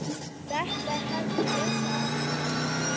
Þetta hefði ég sagt.